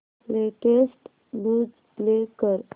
latest news play कर